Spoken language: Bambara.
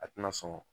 A tɛna sɔn